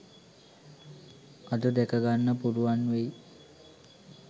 අද දැක ගන්න පුළුවන් වෙයි